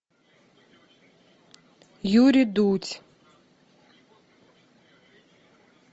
юрий дудь